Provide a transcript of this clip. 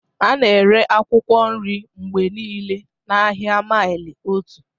A na-ere akwụkwọ nri mgbe niile n'ahịa maili otu.